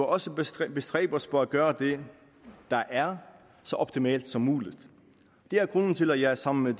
også bestræbe bestræbe os på at gøre det der er så optimalt som muligt det er grunden til at jeg sammen med